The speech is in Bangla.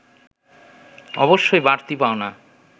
অবশ্যই বাড়তি পাওনা